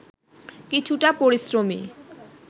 কিছুটা পরিশ্রমী